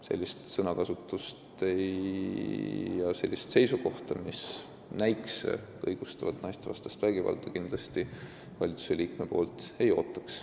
Sellist sõnakasutust ja seisukohta, mis näikse õigustavat naistevastast vägivalda, valitsusliikmelt kindlasti ei ootaks.